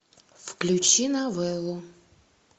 включи новеллу